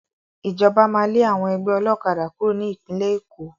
Ìjọba máa lé àwọn ẹgbẹ́ ọlọ́kadà kúrò ní Ìpínlẹ̀ Èkó